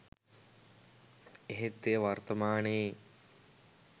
එහෙත් එය වර්තමානයේ